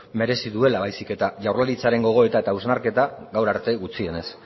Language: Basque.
merezi duela baizik eta jaurlaritzaren gogoeta eta hausnarketa gaur arte gutxienez